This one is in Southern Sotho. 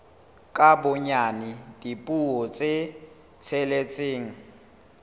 ka bonyane dipuo tse tsheletseng